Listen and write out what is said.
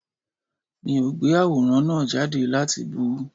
Mi ò gbé àwòrán náà jáde láti bú u